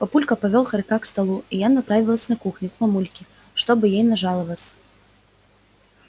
папулька повёл хорька к столу и я направилась на кухню к мамульке чтобы ей нажаловаться